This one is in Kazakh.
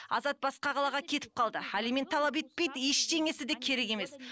азат басқа қалаға кетіп қалды алимент талап етпейді ештеңесі де керек емес